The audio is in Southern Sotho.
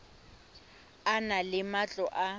e na le matlo a